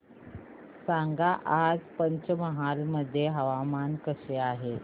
सांगा आज पंचमहाल मध्ये हवामान कसे आहे